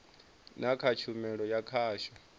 na kha tshumelo ya khasho